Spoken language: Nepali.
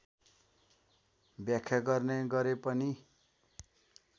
व्याख्या गर्ने गरेपनि